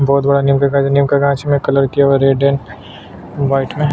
बहोत बड़ा नेम दिखाई दे रहा है नेम का कांच में कलर किया हुआ है रेड एंड राईट में--